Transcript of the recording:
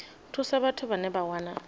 thusa vhathu vhane vha wana